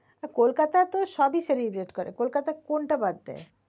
হ্যাঁ কোলকাতা তো সবই celebrate করে কোলকাতা কোনটা বাদ দেয়?